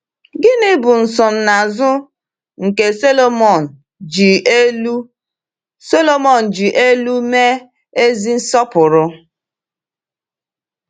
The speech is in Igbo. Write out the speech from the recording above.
Gịnị bụ nsonaazụ nke Sọlọmọn ji elu Sọlọmọn ji elu mee ezi nsọpụrụ?